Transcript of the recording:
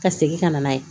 Ka segin ka na n'a ye